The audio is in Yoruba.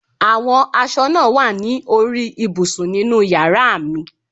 Àwọn aṣọ náà wà ní orí ibùsùn ninú yàrá mi